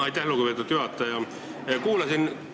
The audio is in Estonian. Aitäh, lugupeetud juhataja!